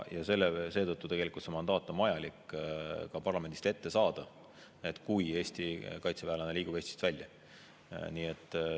Seetõttu tegelikult on vaja parlamendist mandaat ka ette saada, kui Eesti kaitseväelane liigub Eestist välja.